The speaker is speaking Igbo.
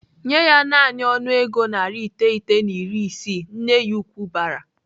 "Nyee ya naanị ọnụego narị iteghete na iri isii!" Nne ya ukwu bara.